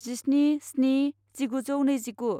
जिस्नि स्नि जिगुजौ नैजिगु